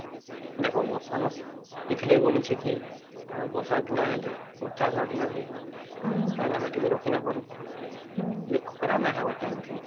ଦେଖା ବର୍ଷା ମାସ କେ ଥିଲେ ଵାଣିଛେ କି ଆମର ବର୍ଷା ଦିନେ ହେଲେ ଚାଷ ବାସ ନାଇଁ ହୁଏ କଇଁଆ ଆମେ କିଛି ରଖି ନାଇଁ ପାରୁ ଅଭି ଖରା ନାଇଁ ହେବ ଟାଇମ ତା ଠିକ